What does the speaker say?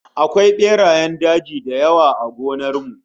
Akwai berayen daji da yawa a gonar mu